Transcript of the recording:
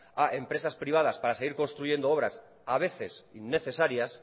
a empresas privadas para seguir construyendo obras a veces innecesarias